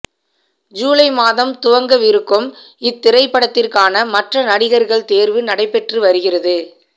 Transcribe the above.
ஜூலை மாதம் துவங்கவிருக்கும் இத்திரைப்படத்திற்கான மற்ற நடிகர்கள் தேர்வு நடைபெற்று வருகிறது